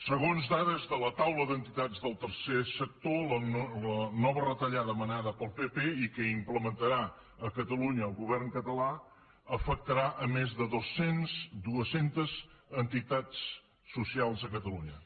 segons dades de la taula d’entitats del tercer sector la nova retallada manada pel pp i que implementarà a catalunya el govern català afectarà més de dues centes entitats socials a catalunya